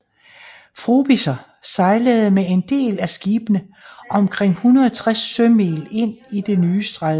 Frobisher sejlede med en del af skibene omkring 160 sømil ind i det nye stræde